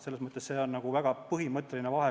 See on väga põhimõtteline vahe.